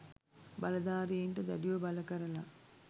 බලදාරීන්ට දැඩිව බල කරල